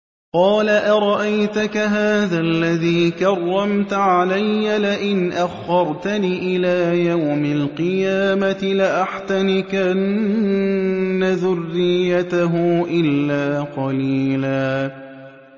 قَالَ أَرَأَيْتَكَ هَٰذَا الَّذِي كَرَّمْتَ عَلَيَّ لَئِنْ أَخَّرْتَنِ إِلَىٰ يَوْمِ الْقِيَامَةِ لَأَحْتَنِكَنَّ ذُرِّيَّتَهُ إِلَّا قَلِيلًا